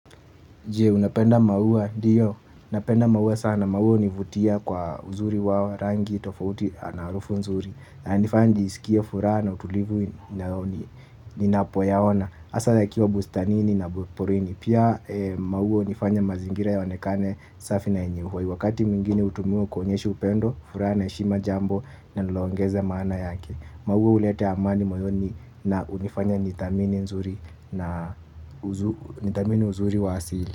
Jee, unapenda maua, ndiyo, napenda maua sana, maua univutia kwa uzuri wao rangi tofauti ana arufu nzuri yananifanya njiskie furaha na utulivu ninapoyaona asa yakiwa bustanini na porini, pia maua unifanya mazingira yaonekane safi na yenye uhai wakati mwingine utumiwa kuonyesha upendo, furaha na eshima jambo nalongeza maana yake. Maua uleta amani moyoni na unifanya nithamini uzuri wa asili.